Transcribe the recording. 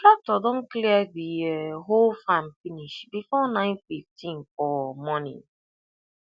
tractor don clear the um whole farm finish before nine-fifteen for um morning